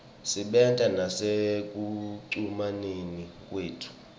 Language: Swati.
isebenta nasekucumaneni kwethu